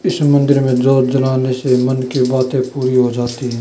इस मंदिर में जोत जलाने से मन की बाते पूरी हो जाती है।